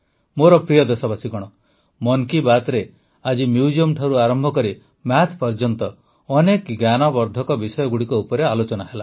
ମୋର ପ୍ରିୟ ଦେଶବାସୀଗଣ ମନ୍ କି ବାତ୍ରେ ଆଜି ମ୍ୟୁଜିୟମଠାରୁ ଆରମ୍ଭ କରି ମ୍ୟାଥ୍ ପର୍ଯ୍ୟନ୍ତ ଅନେକ ଜ୍ଞାନବର୍ଦ୍ଧକ ବିଷୟଗୁଡ଼ିକ ଉପରେ ଆଲୋଚନା ହେଲା